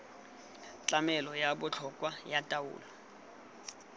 tlamelo ya botlhokwa ya taolo